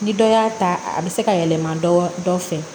Ni dɔ y'a ta a bɛ se ka yɛlɛma dɔ fɛ